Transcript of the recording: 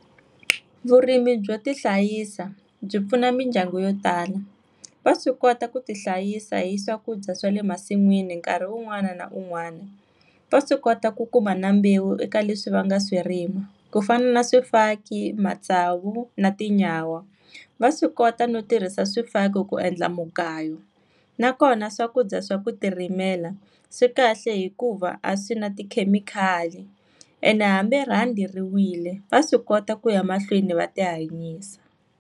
Vurimi byo ti hlayisa, byi pfuna mindyangu yo tala. Va swi kota ku ti hlayisa hi swakudya swa le masin'wini nkarhi un'wana na un'wana. Va swi kota ku kuma na mbewu eka leswi va nga swi rima. Ku fana na swifaki, matsavu na tinyawa. Va swi kota no tirhisa swifaki ku endla mugayo. Na kona swakudya swa ku ti rimela, swi kahle hikuva a swi na tikhemikhali ene hambi rhandi ri wile, va swi kota ku ya mahlweni va ti hanyisa.